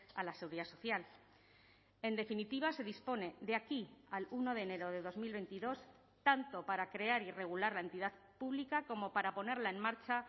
a la seguridad social en definitiva se dispone de aquí al uno de enero de dos mil veintidós tanto para crear y regular la entidad pública como para ponerla en marcha